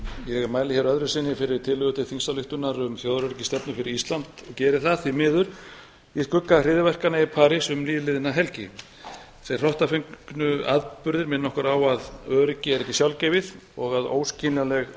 ég mæli hér öðru sinni fyrir þingsályktunartillögu um þjóðaröryggisstefnu fyrir ísland geri það því miður í skugga hryðjuverkanna í parís um nýliðna helgi þeir hrottafengnu atburðir minna okkur á að öryggi er ekki sjálfgefið og að öryggi er ekki sjálfgefið og að óskiljanleg